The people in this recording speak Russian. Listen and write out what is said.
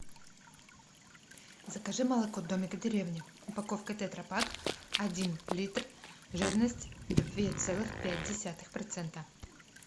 закажи молоко домик в деревне упаковка тетра пак один литр жирность две целых пять десятых процента